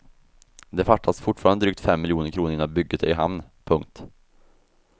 Det fattas fortfarande drygt fem miljoner kronor innan bygget är i hamn. punkt